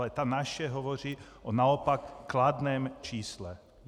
Ale ta naše hovoří o naopak kladném čísle.